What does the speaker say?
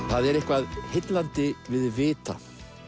það er eitthvað heillandi við vita